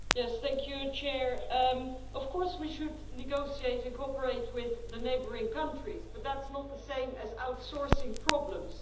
Madam President, of course we should negotiate and cooperate with the neighbouring countries, but that is not the same as outsourcing problems.